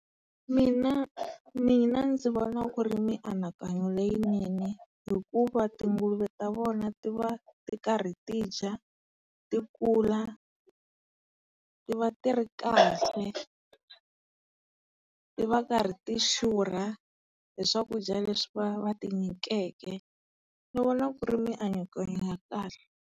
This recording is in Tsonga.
Mina mina ndzi vona ku ri mianakanyo leyinene hikuva tunguluve ta vona ti va ti karhi tidya, ti kula, ti va tiri kahle. Ti va karhi ti xurha hi swakudya leswi va ti nyikeke. Ni vona ku ri mianakanyo ya kahle.